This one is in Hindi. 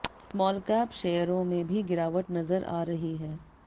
स्मॉलकैप शेयरों में भी गिरावट नजर आ रही है